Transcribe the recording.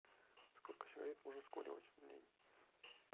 сколько сигарет можно скуривать в день